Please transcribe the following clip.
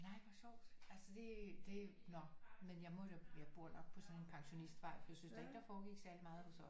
Nej hvor sjovt altså det det nå men jeg må da jeg bor nok på sådan en pensionistvej for jeg synes ikke da ikke der foregik særlig meget hos os